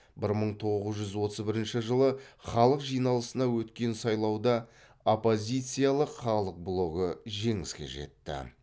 бір мың тоғыз жүз отыз бірінші жылы халық жиналысына өткен сайлауда оппозициялық халық блогы жеңіске жетті